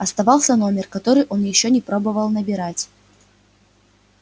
оставался номер который он ещё не пробовал набирать